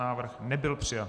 Návrh nebyl přijat.